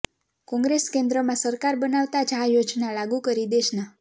કોંગ્રેસ કેન્દ્રમાં સરકાર બનાવતા જ આ યોજના લાગુ કરી દેશના